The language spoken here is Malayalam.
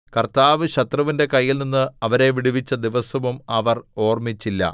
കർത്താവ് ശത്രുവിന്റെ കയ്യിൽനിന്ന് അവരെ വിടുവിച്ച ദിവസവും അവർ ഓർമ്മിച്ചില്ല